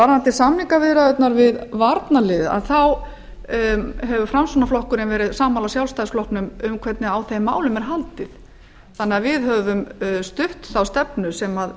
varðandi samningaviðræðurnar við varnarliðið hefur framsóknarflokkurinn verið sammála sjálfstæðisflokknum um hvernig á þeim málum er haldið þannig að við höfum stutt þá stefnu sem